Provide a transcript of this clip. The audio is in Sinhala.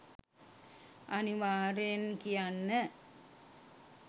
අනිවාර්යයෙන් කියන්න.